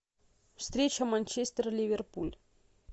встреча манчестер ливерпуль